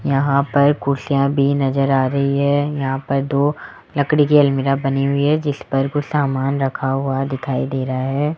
यहां पर कुर्सियां भी नजर आ रही है यहां पर दो लकड़ी की अलमीरा बनी हुई है जिस पर कुछ सामान रखा हुआ दिखाई दे रहा है।